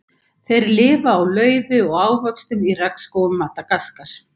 Þeir lifa á laufi og ávöxtum í regnskógum Madagaskar.